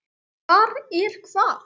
Hvar er hvað?